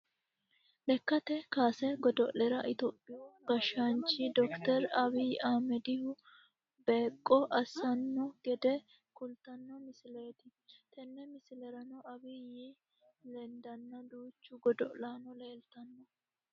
lekkate kaase godo'lera topiyu gashshaanchi dokiteri abiyyi ahimedihu beeqqo assino gede kultanno misileeti, tenne misilerano abiyyi lendanna duuchu godo'laano leeltanno.